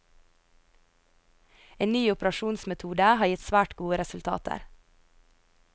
En ny operasjonsmetode har gitt svært gode resultater.